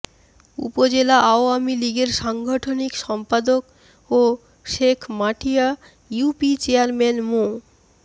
উপজেলা আওয়ামী লীগের সাংগঠনিক সম্পাদক ও শেখমাটিয়া ইউপি চেয়ারম্যান মো